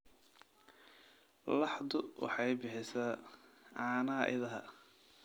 Laxdu waxay bixisaa caanaha idaha.